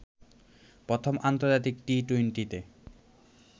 প্রথম আন্তর্জাতিক টি-টোয়েন্টিতে